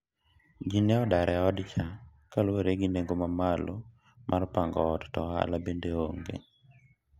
ji ne odar e od cha kaluwore gi nengo mamamlo mar pango ot to ohala bende onge